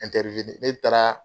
ne taara